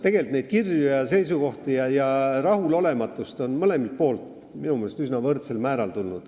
Tegelikult on kirju, seisukohti ja rahulolematust tulnud mõlemalt poolt, minu meelest üsna võrdsel määral.